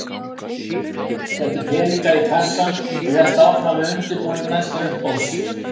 Setti peningana í kassann og hélt áfram við undirbúning næsta uppboðs.